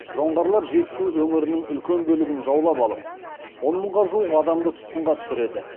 жоңғарлар жетісу өңірінің үлкен бөлігін жаулап алып он мыңға жуық адамды тұтқынға түсіреді